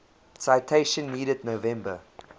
citation needed november